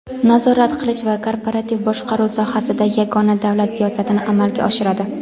nazorat qilish va korporativ boshqaruv sohasida yagona davlat siyosatini amalga oshiradi.